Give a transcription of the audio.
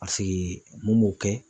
Paseke mun b'o kɛ